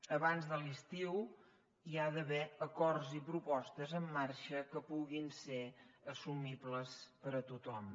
abans de l’estiu hi ha d’haver acords i propostes en marxa que puguin ser assumibles per a tothom